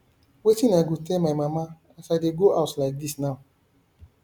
wetin i go tell my mama as i dey go house like dis now